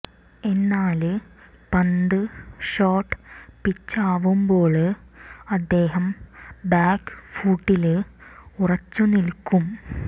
എന്നാല് പന്ത് ഷോര്ട്ട് പിച്ചാവുമ്പോല് അദ്ദേഹം ബാക്ക് ഫൂട്ടില് ഉറച്ച് നില്ക്കും